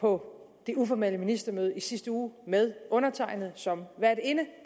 på det uformelle ministermøde i sidste uge med undertegnede som værtinde